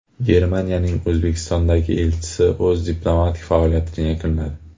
Germaniyaning O‘zbekistondagi elchisi o‘z diplomatik faoliyatini yakunladi.